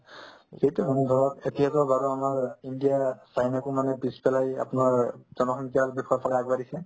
সেইটো হয় ধৰক এতিয়াতো বাৰু আমাৰ ইণ্ডিয়াই চাইনাকো মানে পিছফালে এই আপোনাৰ জনসংখ্যাৰ দিশৰ ফালে আগবাঢ়িছে